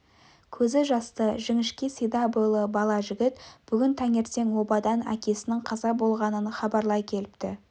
көзі жасты жіңішке сида бойлы бала жігіт бүгін таңертең обадан әкесінің қаза болғанын хабарлай келіпті